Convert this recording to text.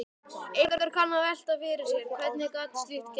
Einhver kann að velta fyrir sér: Hvernig gat slíkt gerst?